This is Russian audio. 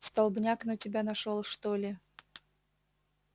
столбняк на тебя нашёл что ли